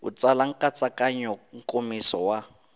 u tsala nkatsakanyo nkomiso wa